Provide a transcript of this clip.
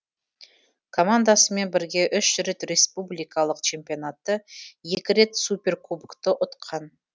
командасымен бірге үш рет республикалық чемпионатты екі рет суперкубокты ұтқан